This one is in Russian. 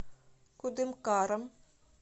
кудымкаром